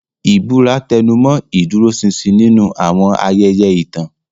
Ìbúra tẹnumọ́ ìdúróṣinṣin nínú àwọn ayẹyẹ ìtàn.